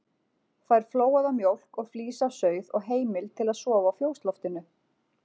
Fær flóaða mjólk og flís af sauð og heimild til að sofa á fjósloftinu.